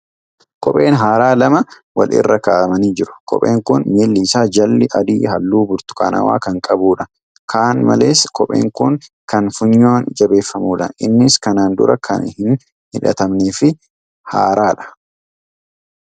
Kopheen haaraan lama wal irra kaa'amanii jiru. kopheen kun. miilli issaa jalli adii halluu burtukaanawaa kan qabuudha. Kan malees, kopheen kun kan funyoon jabeeffamuudha. Innis kanaan dura kan hin hidhatamnee fi haaraadha.